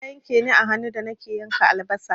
Wuƙar ta yanke ni a hannu da nake yanka albasa.